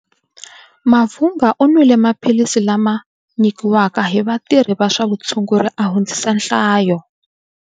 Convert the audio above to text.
Mavhunga u nwile maphilisi lama nyikiwaka hi vatirhi va swa vutshunguri a hundzisa nhlayo.